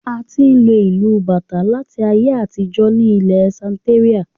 A ti n lo ìlu bàtà láti ayé àtijó ní ilẹ Santeria